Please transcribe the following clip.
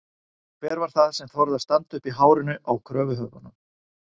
Hver var það sem þorði að standa uppi í hárinu á kröfuhöfunum?